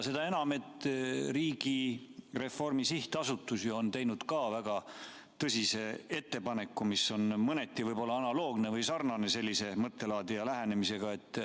Seda enam, et Riigireformi Sihtasutus on teinud ka väga tõsise ettepaneku, mis on mõneti võib-olla analoogne või sarnane sellise mõttelaadi ja lähenemisega.